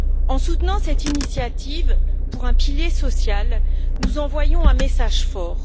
En soutenant cette initiative en faveur d'un pilier social, nous envoyons un message fort.